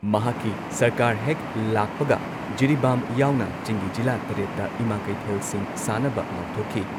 ꯃꯍꯥꯛꯀꯤ ꯁꯔꯀꯥꯔ ꯍꯦꯛ ꯂꯥꯛꯄꯒ ꯖꯤꯔꯤꯕꯥꯝ ꯌꯥꯎꯅ ꯆꯤꯡꯒꯤ ꯖꯤꯂꯥ ꯇꯔꯦꯠꯇ ꯏꯃꯥ ꯀꯩꯊꯦꯜꯁꯤꯡ ꯁꯥꯅꯕ ꯂꯥꯎꯊꯣꯛꯈꯤ ꯫